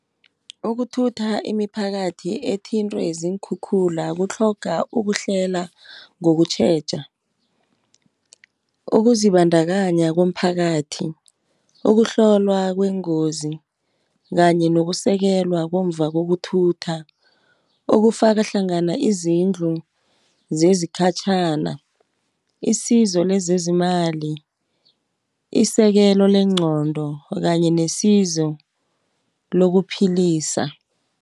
Ukuthutha imiphakathi ethintwe ziinkhukhula kutlhoga ukuhlela ngokutjheja, ukuzibandakanya komphakathi, ukuhlolwa kwengozi, kanye nokusekelwa komva kokuthutha. Okufaka hlangana izindlu zezikhatjhana , isizo lezezimali isekelo lengqondo kanye nesizo lokuphilisa.